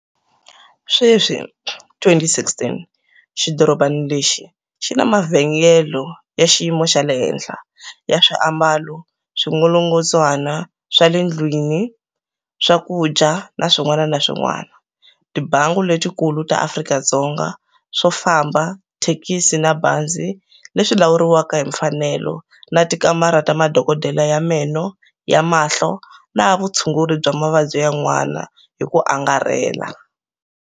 Sweswi, 2016, xidorobana lexi xi na mavhengele ya xiyimo xa la henhla, ya swiambalo, swingolongondzwana swa le ndlwini, swakudya na swin'wana na swin'wana, tibangi letikulu ta Afrika-Dzonga, swofamba, tithekisi na mabazi, leswi lawuriwaka hi mfanelo na tikamara ta madokodela ya meno, ya mahlo na ya vutshunguri bya mavabyi yan'wana hi ku angarhela.